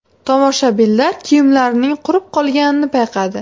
Tomoshabinlar kiyimlarining qurib qolganini payqadi.